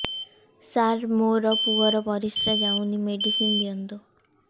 ସାର ମୋର ପୁଅର ପରିସ୍ରା ଯାଉନି ମେଡିସିନ ଦିଅନ୍ତୁ